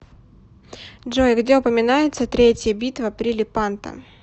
джой где упоминается третья битва при лепанто